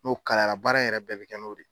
N'o kala yara baara in yɛrɛ bɛɛ bɛ kɛ no de ye.